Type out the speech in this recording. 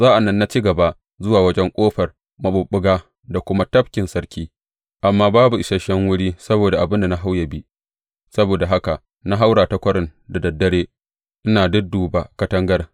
Sa’an nan na ci gaba zuwa wajen Ƙofar Maɓuɓɓuga da kuma Tafkin Sarki, amma babu isashen wuri saboda abin da na hau yă bi; saboda haka na haura ta kwarin da dad dare, ina dudduba katangar.